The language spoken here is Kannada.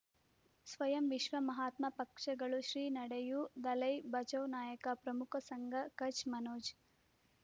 ಸ್ವಯಂ ವಿಶ್ವ ಮಹಾತ್ಮ ಪಕ್ಷಗಳು ಶ್ರೀ ನಡೆಯೂ ದಲೈ ಬಚೌ ನಾಯಕ ಪ್ರಮುಖ ಸಂಘ ಕಚ್ ಮನೋಜ್